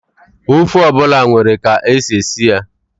Ofe ọ bụla nwere ka e si esi ya.